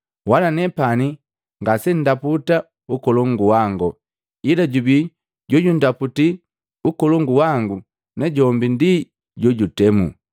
Wala nepani ngasendaputa ukolongu wango. Ila jubi jumu jojundaputi ukolongu wangu najombi ndi jojutemu.